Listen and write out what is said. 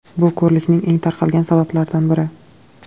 Bu ko‘rlikning eng tarqalgan sabablaridan biri.